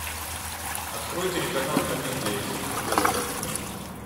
открой телеканал амедиа хит на тв